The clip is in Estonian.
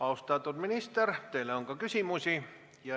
Austatud minister, teile on ka küsimusi.